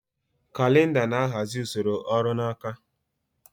Kalịnda na-ahazi usoro ọrụ n'aka.